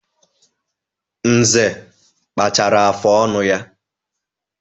Nze kpachara afụ ọnụ ya.